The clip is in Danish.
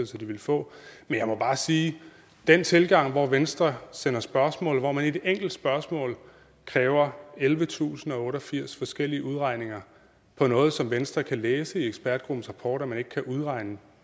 sig de vil få men jeg må bare sige at den tilgang hvor venstre sender spørgsmål hvor man i et enkelt spørgsmål kræver ellevetusinde og otteogfirs forskellige udregninger på noget som venstre kan læse i ekspertgruppens rapport at man ikke kan udregne